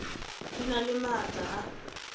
di na le maatla a